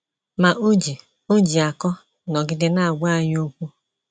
Ma o ji o ji akọ nọgide na - agwa anyị okwu.